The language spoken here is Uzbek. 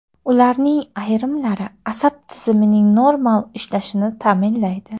Ularning ayrimlari asab tizimining normal ishlashini ta’minlaydi.